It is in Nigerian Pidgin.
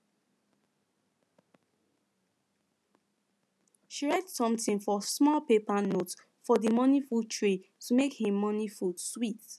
she write something for small paper note for the morning food tray to make him morning sweet